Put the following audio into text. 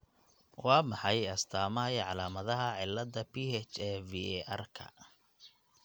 Waa maxay astamaha iyo calaamadaha cilada PHAVERka